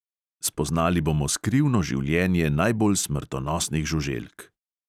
Spoznali bomo skrivno življenje najbolj smrtonosnih žuželk.